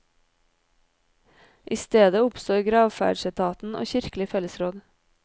I stedet oppstår gravferdsetaten og kirkelig fellesråd.